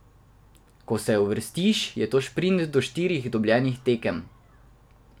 Ko se uvrstiš, je to šprint do štirih dobljenih tekem.